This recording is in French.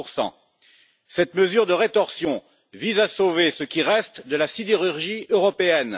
30 Cette mesure de rétorsion vise à sauver ce qui reste de la sidérurgie européenne.